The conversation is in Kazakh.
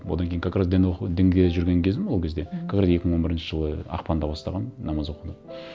одан кейін как раз дін оқу дінге жүрген кезім ол кезде мхм как раз екі мың он бірінші жылы ақпанда бастағанмын намаз оқуды